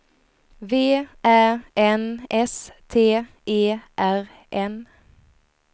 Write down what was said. V Ä N S T E R N